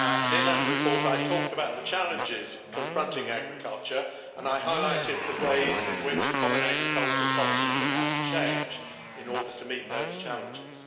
In that report, I talked about the challenges confronting agriculture and highlighted the ways in which the common agricultural policy is going to have to change in order to meet those challenges.